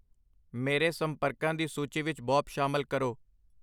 ਮੇਰੇ ਸੰਪਰਕਾਂ ਦੀ ਸੂਚੀ ਵਿੱਚ ਬੌਬ ਸ਼ਾਮਲ ਕਰੋ